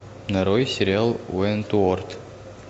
нарой сериал уэнтуорт